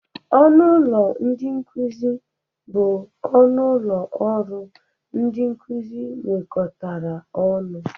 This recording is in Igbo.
Ọnụ ụlọ ndị nkụzị bụ ọnụ ụlọ ọrụ ndị nkụzị nwekọtara ọnụ.